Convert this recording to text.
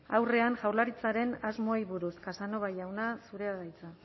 aurrean jaurlaritzaren asmoei buruz casanova jauna zurea da hitza